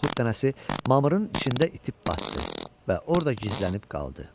Noxud dənəsi mamırın içində itib batdı və orda gizlənib qaldı.